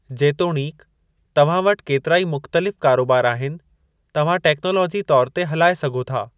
जेतोणीकि तव्हां वटि केतिराई मुख़्तलिफ़ कारोबार आहिनि, तव्हां टेक्नालाजी तौर ते हलाए सघो था।